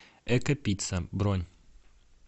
эко пицца бронь